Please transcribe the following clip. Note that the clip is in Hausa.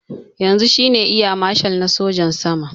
Yanzu shine eya mashal na sojin sama